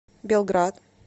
белград